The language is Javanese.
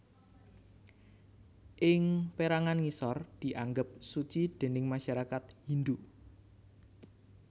Ing pérangan ngisor dianggep suci déning masyarakat Hindhu